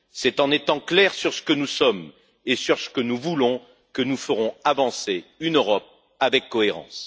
C'est en étant clairs sur ce que nous sommes et sur ce que nous voulons que nous ferons avancer une Europe avec cohérence.